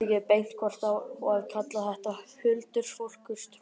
Ég veit ekki beint hvort á að kalla þetta huldufólkstrú.